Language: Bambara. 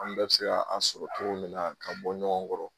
An bɛɛ be se ka a sɔrɔ cogo min na k'a bɔ ɲɔgɔn kɔrɔ